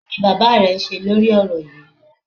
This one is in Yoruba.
Kí ni bàbá rẹ ń ṣe lórí ọ̀rọ̀ yíì?